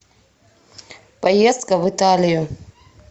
поездка в италию